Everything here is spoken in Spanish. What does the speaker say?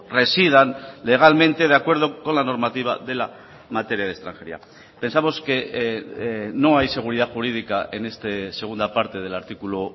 residan legalmente de acuerdo con la normativa de la materia de extranjería pensamos que no hay seguridad jurídica en esta segunda parte del artículo